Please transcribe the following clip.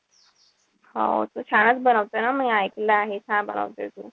हो तू छानच बनवते ना. मी ऐकल आहे. छान बनवते तू.